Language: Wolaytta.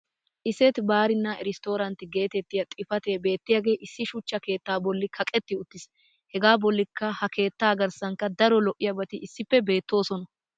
"isset barina restorant" geetettiya xifatee beetiyaagee issi shuchcha keettaa boli kaqetti uttiis. hegaa bolikka ha keettaa garssankka daro lo'iyaabati issippe beetoosona.